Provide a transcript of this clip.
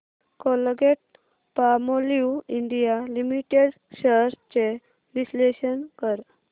Colgate Palmolive India limited shares चे विश्लेषण कर